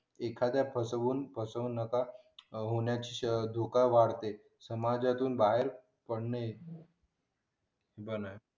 एखादी एखाद्याची फसवण्याची शक्यता वाढते पण यातून बाहेर पडणे